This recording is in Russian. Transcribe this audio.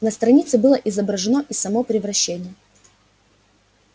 на странице было изображено и само превращение